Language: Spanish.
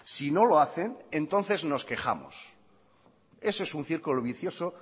si no lo hacen entonces nos quejamos eso es un circulo vicioso